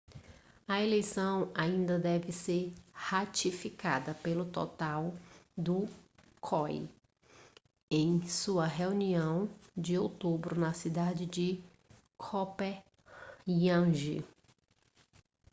a eleição ainda deve ser ratificada pelo total do coi em sua reunião de outubro na cidade de copenhague